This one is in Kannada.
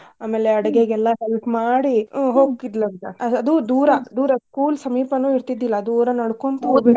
ಆಮ್ಯಾಲೆ help ಮಾಡಿ ಆ ಅಂತ. ಆ ಅದು ದೂರಾ school ಸಮೀಪನು ಇರ್ತಿದ್ದಿಲ್ಲಾ ದೂರಾ .